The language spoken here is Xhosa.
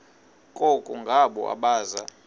koko ngabo abaza